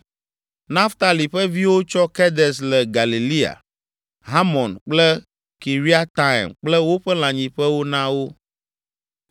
Naftali ƒe viwo tsɔ Kedes le Galilea, Hamon kple Kiriataim kple woƒe lãnyiƒewo na wo.